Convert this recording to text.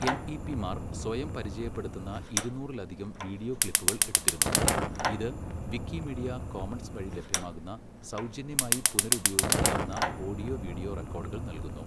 എംഇപിമാർ സ്വയം പരിചയപ്പെടുത്തുന്ന ഇരുന്നൂറിലധികം വീഡിയോ ക്ലിപ്പുകൾ എടുത്തിരുന്നു, ഇത് വിക്കിമീഡിയ കോമൺസ് വഴി ലഭ്യമാകുന്ന സൗജന്യമായി പുനരുപയോഗിക്കാവുന്ന ഓഡിയോ, വീഡിയോ റെക്കോർഡുകൾ നൽകുന്നു.